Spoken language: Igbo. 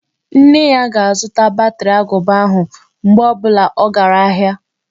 Nne ya ga-azụta batri agụba ahụ, mgbe ọ bụla ọ gara ahịa.